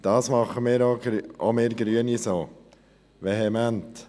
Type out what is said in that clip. Das tun auch wir Grünen vehement.